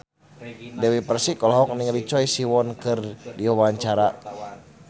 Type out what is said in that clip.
Dewi Persik olohok ningali Choi Siwon keur diwawancara